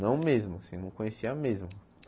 Não mesmo, assim, não conhecia mesmo.